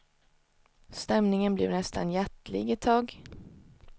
Stämningen blev nästan hjärtlig ett tag.